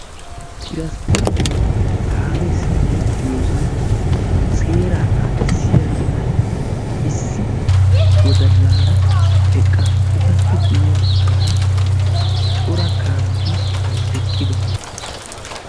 Tiranspporiteenne kaamee simerettiyosan seeraa naagissiyara issi wodallaara eqqaasu. Etappe guyye baggaara cora kaameti eqqidosona.